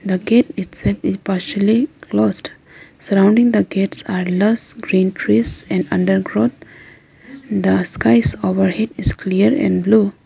The gate itself is partially closed. Surrounding the gates are lush green trees and undergrowth. The skies overhead is clear and blue.